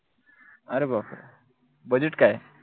अरे बाप रे budget काय?